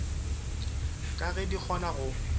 ka ge di kgona go